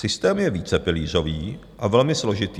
Systém je vícepilířový a velmi složitý.